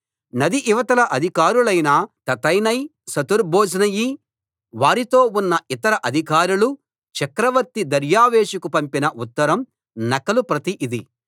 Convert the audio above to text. నది ఇవతల అధికారులైన తత్తెనై షెతర్బోజ్నయి వారితో ఉన్న ఇతర అధికారులు చక్రవర్తి దర్యావేషుకు పంపిన ఉత్తరం నకలు ప్రతి ఇది